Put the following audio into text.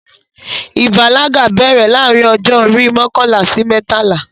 Ìbàlágà bẹ̀rẹ̀ láàrin ọjọ́ orí mọkànlá sí mẹ́tàlá